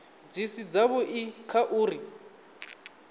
dzi si dzavhui kha uri